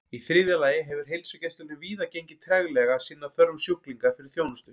Í þriðja lagi hefur heilsugæslunni víða gengið treglega að sinna þörfum sjúklinga fyrir þjónustu.